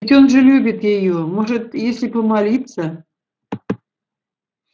ведь он же любит её может если помолиться